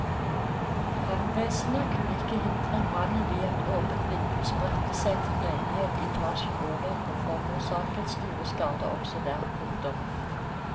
Brannvesenet kunne ikke hindre at brannen via et åpent vindu spredte seg til en leilighet i etasjen over og forårsaket store skader også der. punktum